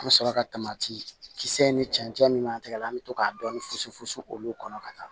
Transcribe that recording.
An bɛ sɔrɔ ka kisɛ ni cɛncɛn min ma tigɛ an bɛ to ka dɔɔni funsu funu olu kɔnɔ ka taa